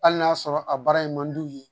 Hali n'a sɔrɔ a baara in man d'u ye